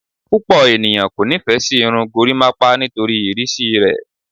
Pupọ eniyan ko nifẹ si irun gorimapa nitori irisi rẹ